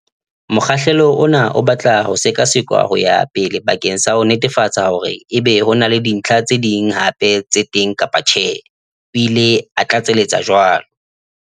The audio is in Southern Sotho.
"Mokgahlelo ona o batla ho sekasekwa ho ya pele bakeng sa ho netefatsa hore na ebe ho na le dintlha tse ding hape tse teng kapa tjhe," o ile a tlatseletsa jwalo.